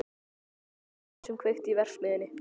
Það var ekki Sveinbjörn sem kveikti í verksmiðjunni.